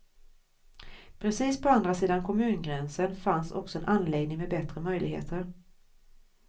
Precis på andra sidan kommungränsen fanns också en anläggning med bättre möjligheter.